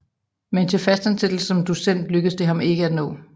Men til fast ansættelse som docent lykkedes det ham ikke at nå